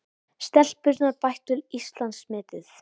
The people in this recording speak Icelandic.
Stelpurnar bættu Íslandsmetið